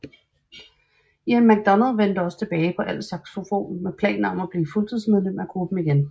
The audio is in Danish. Ian McDonald vendte også tilbage på altsaxofon med planer om at blive fuldtidsmedlem af gruppen igen